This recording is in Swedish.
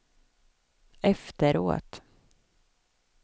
efteråt